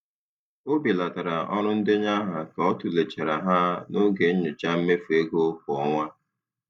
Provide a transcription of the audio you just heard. um Ọ belatara ọrụ ndenye aha ka ọ tụlechara ha n'oge nyocha mmefu ego kwa ọnwa.